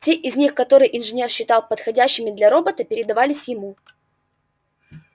те из них которые инженер считал подходящими для робота передавались ему